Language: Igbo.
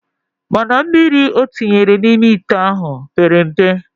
Mana mmiri otinyere na ime ite ahu pere mpe